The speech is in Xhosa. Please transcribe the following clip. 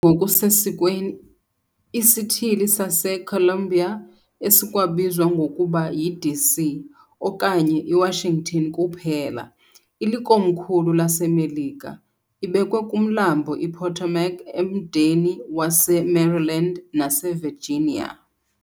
ngokusesikweni iSithili saseColumbia esikwabizwa ngokuba yiDC okanye yiWashington kuphela, ilikomkhulu laseMelika, ibekwe kuMlambo iPotomac emdeni waseMaryland naseVirginia.